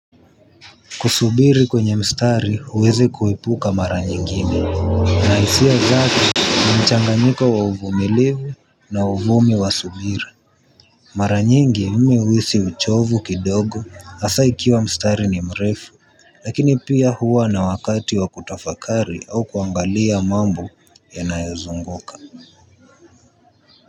Kusubiri kwenye mstari huwezi kuepuka mara nyingine. Ina hisia zake, ni mchanganyiko wa uvumilivu na uvumi wa subira. Mara nyingi mimi huhisi uchovu kidogo hasa ikiwa mstari ni mrefu, lakini pia huwa na wakati wa kutafakari au kuangalia mambo yanayozunguka.